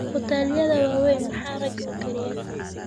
huteladha waweyn maxaa rag ukariya